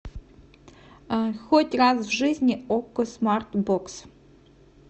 хоть раз в жизни окко смарт бокс